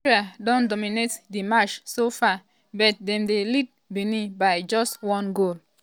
nigeria don dominate di match so far but dem dey lead benin by just one goal.